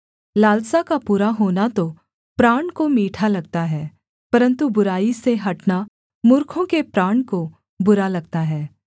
लालसा का पूरा होना तो प्राण को मीठा लगता है परन्तु बुराई से हटना मूर्खों के प्राण को बुरा लगता है